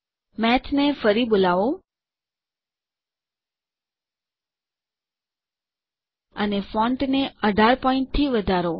મેથને ફરી બોલાવો અને ફોન્ટને ૧૮ પોઈન્ટ થી વધારો